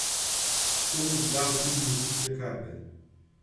Vsem je dodal tudi božične kape.